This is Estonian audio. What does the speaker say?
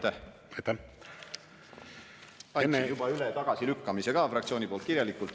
Ma enne andsin juba fraktsiooni nimel üle tagasilükkamise kirjalikult.